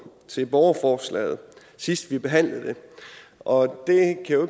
til borgerforslaget sidst vi behandlede det og